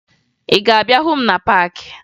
Ị ga-abịa hụ m na paakị?